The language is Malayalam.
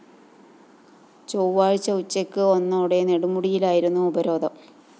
ചൊവ്വാഴ്ച ഉച്ചയ്ക്ക് ഒന്നോടെ നെടുമുടിയിലായിരുന്നു ഉപരോധം